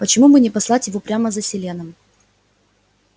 почему бы не послать его прямо за селеном